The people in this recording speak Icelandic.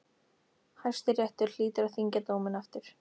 Hæstiréttur hlýtur að þyngja dóminn aftur.